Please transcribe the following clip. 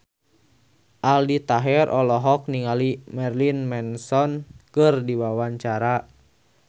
Aldi Taher olohok ningali Marilyn Manson keur diwawancara